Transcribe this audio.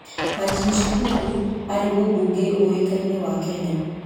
Martin Shikuku aarĩ mũbunge ũĩkaine wa Kenya.